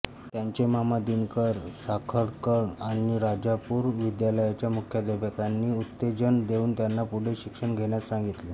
त्यांचे मामा दिनकर साखळकर आणि राजापूर विद्यालयाच्या मुख्याध्यापकांनी उत्तेजन देऊन त्यांना पुढे शिक्षण घेण्यास सांगितले